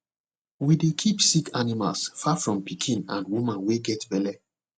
we dey keep sick animals far from pikin and woman wey get belle